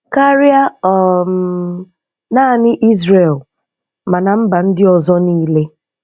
Karịa um naanị Izrel, mana mba ndị ọzọ niile.